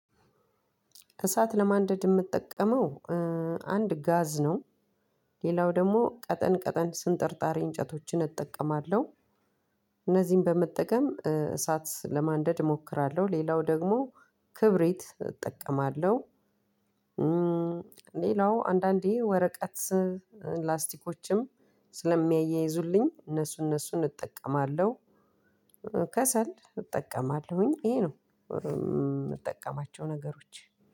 እሳት ለማንደድ የምጠቀመው አንድ ጋዝ ነው፣ ሌላው ደግሞ ቀጠን ቀጠን ስንጠርጣሪ እንጨቶችን እጠቀማለሁ። እነዚህን በመጠቀም እሳት ለማንደድ እሞክራለሁ። ሌላው ደግሞ ክብሪት እጠቀማለሁ፣ ሌላው አንዳንዴ ወረቀት ላስቲኮችም ስለሚያያይዙልኝ እነሱ እነሱን እጠቀማለሁ። ከሰል እጠቀማለሁኝ፣ ይሄ ነው የምጠቀማቸው ነገሮች።